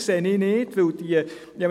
Deswegen sehe ich es nicht ein.